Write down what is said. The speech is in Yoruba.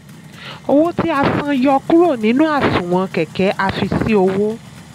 owó tí a san yọ kúrò nínú àsunwon kẹ̀kẹ́ a fi sí owó.